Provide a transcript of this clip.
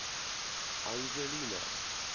анжелина